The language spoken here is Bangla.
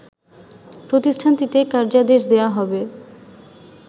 প্রতিষ্ঠানটিকে কার্যাদেশ দেয়া হবে